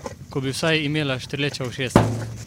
Ko bi vsaj imela štrleča ušesa!